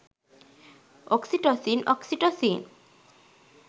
oxytocin oxytocin